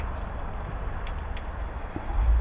Dayan, dayan.